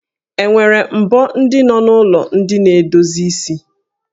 E nwere mbo ndị nọ n'ụlọ ndị na-edozi isi?